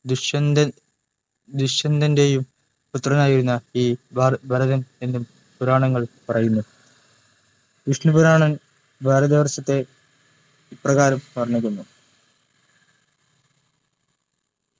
ദുഷ്യന്തൻ ദുഷ്യന്തൻ്റെയും പുത്രനായിരുന്നു ഈ ഭരതൻ എന്നും പുരാണങ്ങൾ പറയുന്നു വിഷ്‌ണു പുരാണം ഭാരതവർഷത്തെ ഇപ്രകാരം വർണ്ണിക്കുന്നു